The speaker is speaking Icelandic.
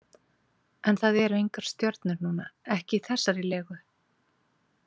En það eru engar stjörnur núna, ekki í þessari legu.